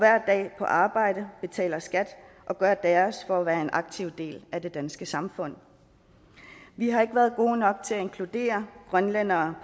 på arbejde betaler skat og gør deres for at være en aktiv del af det danske samfund vi har ikke været gode nok til at inkludere grønlændere